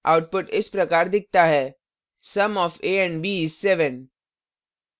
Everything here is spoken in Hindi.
output इस प्रकार दिखता है sum of a and b is 7